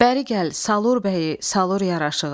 Bəri gəl, Salur bəyi, Salur yaraşığı.